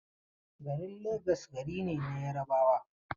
Garin Legas gari ne na Yarabawa.